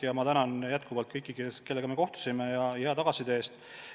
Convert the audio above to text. Ja ma tänan veel kord kõiki, kellega me kohtusime, hea tagasiside eest.